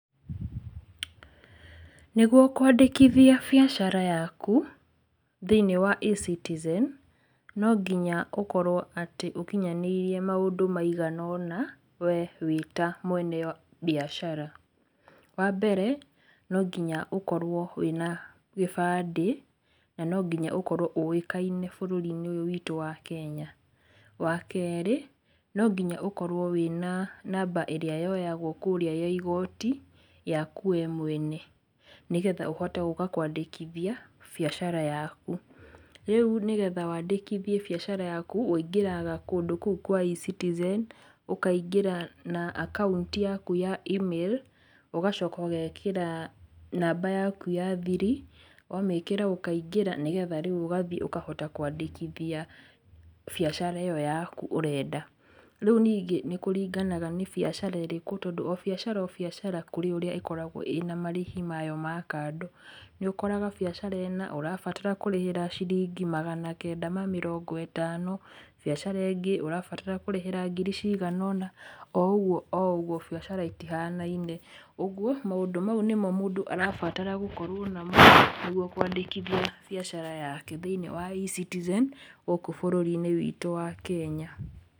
Nĩguo kwangĩkithia biacara yaku, thĩ-inĩ wa e-citizen, nonginya ũkorwo atĩ ũkinyanĩirie maũndũ maigana ũna, wee wĩta mwena mbiacara, wambere, nonginya ũkorwo wĩna gĩbandĩ, na ningonya ũkorwo ũĩkaine bũrũri ũyũ witũ wa kenya, wa kerĩ, nonginya ũkorwo wĩna namba ĩrĩa yoyagwo kũrĩa ya igoti, yaku we mwene, nĩgetha ũhote gũka kwandĩkithia biacara yaku, ríu nĩgetha wandĩkithie biacara yaku wũingĩraga kúndũ kũu kwa e-citizen, ũkaingĩra na akaunti yaku ya e-mail, ũgacoka ũgekĩra namba yaku ya thiri, wamĩkĩra ũkaingĩra, nĩgetha rĩu ũkahota gũthiĩ kwandĩkithia biacara ĩyo yaku ũrenda, rĩu ningĩ nĩkũringanaga nĩ biacara ĩrĩkũ tondũ o biacara o biacara kũrĩ ũrĩa ĩkoragwo ĩna marĩhi mayo ma kando, nĩũkoraga biacara ĩna ũrabatara kũrĩhĩra ciringi magana kenda ma mĩrongo ĩtano, biacara ĩngĩ, ũrabatara kũrĩhĩra ngiri cigana ona, o ũguo o ũguo, biacara itihananine, ũguo, maũndũ mau nĩmo mũndũ arabatara gũkorwo namo, nĩguo kwandĩkithia biacara yake thĩ-inĩ wa e-citizen, gũkũ bũrũri-inĩ witũ wa kenya.